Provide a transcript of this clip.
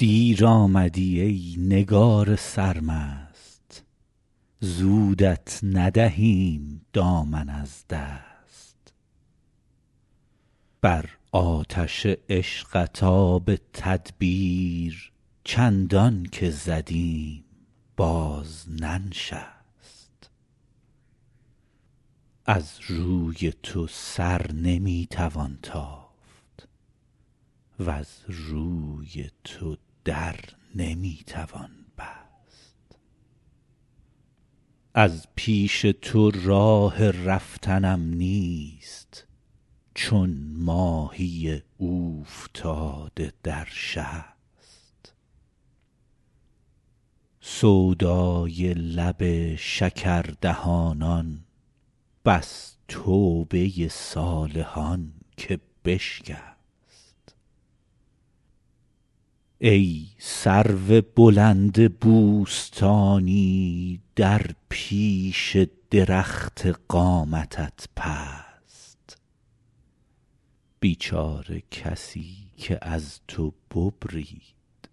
دیر آمدی ای نگار سرمست زودت ندهیم دامن از دست بر آتش عشقت آب تدبیر چندان که زدیم باز ننشست از رای تو سر نمی توان تافت وز روی تو در نمی توان بست از پیش تو راه رفتنم نیست چون ماهی اوفتاده در شست سودای لب شکردهانان بس توبه صالحان که بشکست ای سرو بلند بوستانی در پیش درخت قامتت پست بیچاره کسی که از تو ببرید